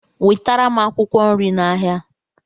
wetara m akwụkwọ nri n'ahịa